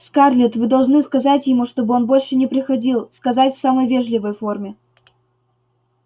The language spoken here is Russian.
скарлетт вы должны сказать ему чтобы он больше не приходил сказать в самой вежливой форме